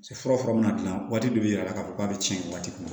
Se fura mina dilan waati dɔ bi yira la k'a fɔ k'a be tiɲɛ waati mun